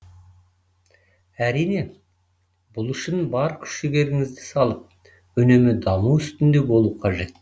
әрине бұл үшін бар күш жігеріңізді салып үнемі даму үстінде болу қажет